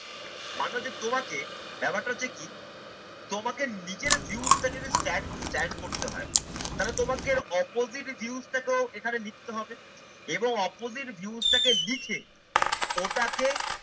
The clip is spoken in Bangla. মারলো যে তোমাকে ব্যাপারটা দেখি তোমাকে নিজের views টা যদি stand stand করতে হয় তাহলে তোমাকে opposite views টাকেও এখানে লিখতে হবে এবং opposite views টাকে লিখে ওটাকে